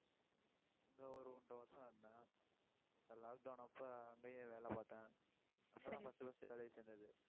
அங்க ஒரு ஒன்றரை வருஷம் இருந்தேன். lock down அப்ப அங்கேயே வேலை பார்த்தேன்.